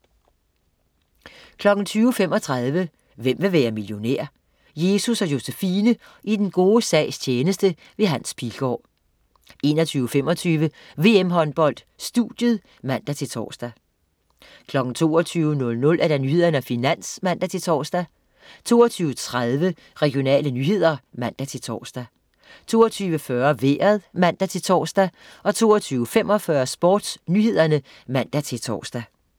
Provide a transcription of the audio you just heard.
20.35 Hvem vil være millionær? Jesus & Josefine i den gode sags tjeneste. Hans Pilgaard 21.25 VM-Håndbold: Studiet (man-tors) 22.00 Nyhederne og Finans (man-tors) 22.30 Regionale nyheder (man-tors) 22.40 Vejret (man-tors) 22.45 SportsNyhederne (man-tors)